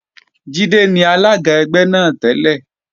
Jídé ni alága ẹgbẹ́ náà tẹ́lẹ̀